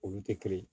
Olu tɛ kelen ye